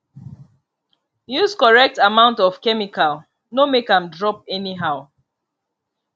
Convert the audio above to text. use correct amount of chemicalno make am drop anyhow